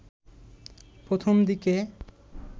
প্রথম দিকে